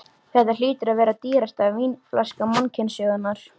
Þetta hlýtur að vera dýrasta vínflaska mannkynssögunnar.